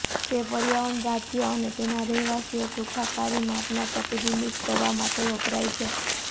તે પર્યાવરણ રાજ્ય અને તેના રહેવાસીઓ સુખાકારી માપન પ્રતિબિંબિત કરવા માટે વપરાય છે